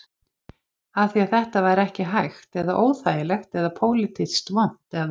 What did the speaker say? Af því að þetta væri ekki hægt eða óþægilegt eða pólitískt vont eða?